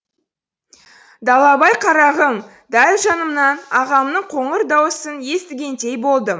далабай қарағым дәл жанымнан ағамның қоңыр даусын естігендей болдым